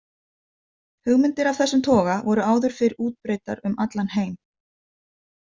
Hugmyndir af þessum toga voru áður fyrr útbreiddar um allan heim.